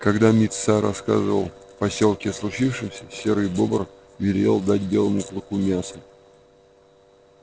когда мит са рассказал в посёлке о случившемся серый бобр велел дать белому клыку мяса